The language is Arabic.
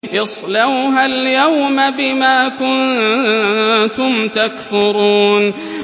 اصْلَوْهَا الْيَوْمَ بِمَا كُنتُمْ تَكْفُرُونَ